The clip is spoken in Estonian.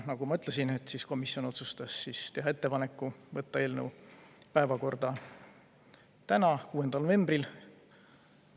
Nagu ma ütlesin, komisjon otsustas teha ettepaneku võtta eelnõu päevakorda täna, 6. novembril.